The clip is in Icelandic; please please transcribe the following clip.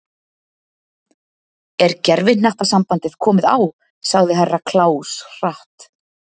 Er gervihnattasambandið komið á sagði Herra Kláus hratt.